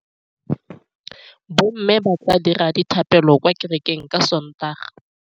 Bommê ba tla dira dithapêlô kwa kerekeng ka Sontaga.